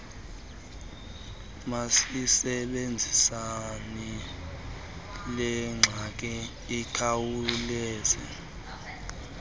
masisebenziseni lengxaki ikhawulezayo